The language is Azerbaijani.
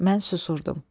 Mən susurdum.